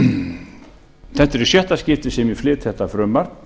þetta er í sjötta skipti sem ég flyt þetta frumvarp